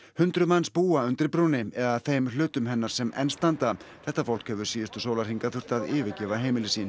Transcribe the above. hundruð manns búa undir brúnni eða þeim hlutum hennar sem enn standa þetta fólk hefur síðustu sólarhringa þurft að yfirgefa heimili sín